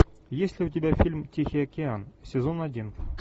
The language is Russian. есть ли у тебя фильм тихий океан сезон один